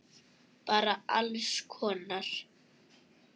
Bara alls konar.